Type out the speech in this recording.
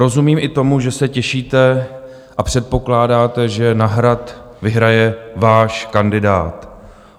Rozumím i tomu, že se těšíte a předpokládáte, že na Hrad vyhraje váš kandidát.